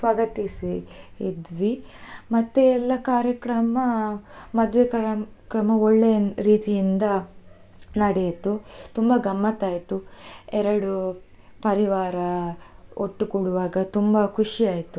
ಸ್ವಾಗತಿಸಿ ಇದ್ವಿ ಮತ್ತೆ ಎಲ್ಲಾ ಕಾರ್ಯಕ್ರಮ, ಮದ್ವೆ ಕಾರ್ಯಕ್ರಮ ಒಳ್ಳೆ ರೀತಿಯಿಂದ ನಡೆಯಿತು, ತುಂಬಾ ಗಮ್ಮತ್ತ್ ಆಯ್ತು ಎರಡು ಪರಿವಾರ ಒಟ್ಟುಗೂಡ್ವಾಗ ತುಂಬಾ ಖುಷಿ ಆಯ್ತು.